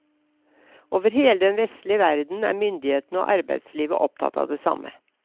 Over hele den vestlige verden er myndighetene og arbeidslivet opptatt av det samme.